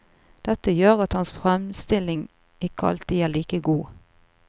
Dette gjør at hans fremstilling ikke alltid er like god.